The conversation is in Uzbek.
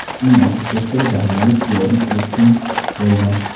Uning arxitektori daniyalik Yorn Utzon bo‘lgan.